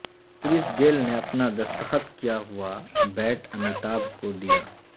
کرس Gayle نے اپنا دستخط کیا ہوا بیٹ امیتابھ کو دیا